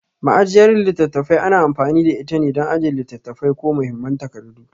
Ma'ajiyar littattafai ana amfani da itane dan ajiye littattafai ko muhimman takardu.